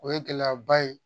O ye gɛlɛyaba ye